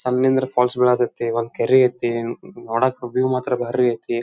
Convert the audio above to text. Falls ಬೀಳತೈತಿ ಒಂದ್ ಕೆರಿ ಐತಿ ನೋಡಕ್ ವ್ಯೂ ಮಾತ್ರ ಬಾರಿ ಐತಿ.